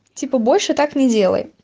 типа больше так не делай